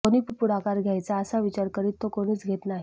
कोणी पुढाकार घ्यायचा असा विचार करीत तो कोणीच घेत नाही